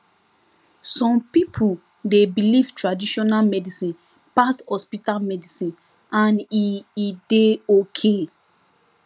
some pipo dey believe traditional medicine pass hospital medicine and e e dey ok